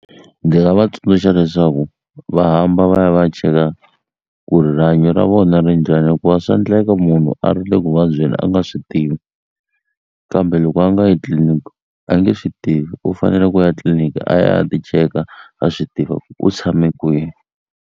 nga va tsundzuxa leswaku va hamba va ya va ya cheka ku ri rihanyo ra vona ri njhani hikuva swa endleka munhu a ri le ku vabyeni a nga swi tivi kambe loko a nga yi tliliniki a nge swi tivi u fanele ku ya etliliniki a ya a ya ti cheka a swi tiva ku u tshame kwihi.